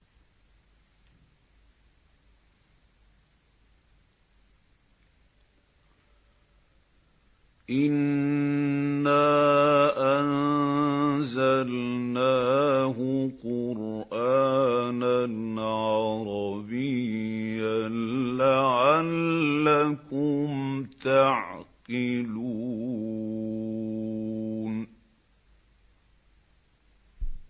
إِنَّا أَنزَلْنَاهُ قُرْآنًا عَرَبِيًّا لَّعَلَّكُمْ تَعْقِلُونَ